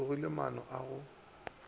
mo logiše maano a go